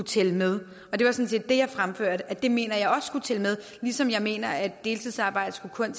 tælle med det var sådan set det jeg fremførte at det mener jeg også skulle tælle med ligesom jeg mener at deltidsarbejde kun